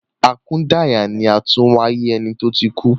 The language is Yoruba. Akudaya ni àtúnwáyé eni to tí kú